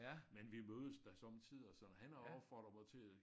Men vi mødes da somme tider sådan han har opfordret mig til at